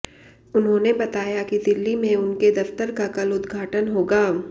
उन्होंने बताया कि दिल्ली में उनके दफ्तर का कल उद्घाटन होगा